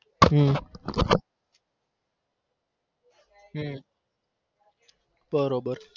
હમ બરોબર